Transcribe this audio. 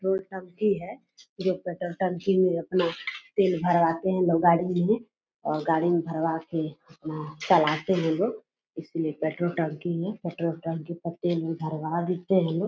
Petrol टंकी है जो पेट्रोल टंकी में अपना तेल भरवाते है लोग गाड़ी मे अ गाड़ी मे भरवा के चलाते है लोग। इसलिए पेट्रोल टंकी है पेट्रोल टंकी मे तेल-उल भरवा लेते है लोग --